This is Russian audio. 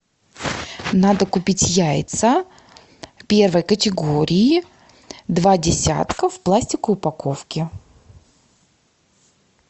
надо купить яйца первой категории два десятка в пластиковой упаковке